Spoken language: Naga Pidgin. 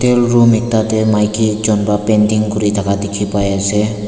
room ekta dae maiki ekjun pata painting kuri taka diki pai asae.